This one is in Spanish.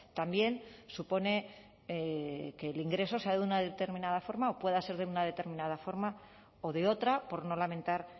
también supone que el ingreso sea de una determinada forma o pueda ser de una determinada forma o de otra por no lamentar